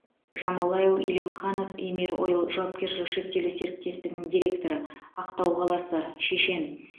жамалайл элимханов емир ойл жауапкершілігі шектеулі серіктестігінің директоры ақтау қаласы шешен